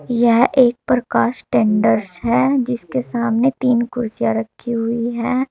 यह एक प्रकाश टेंडर्स है जिसके सामने तीन कुर्सियां रखी हुई हैं।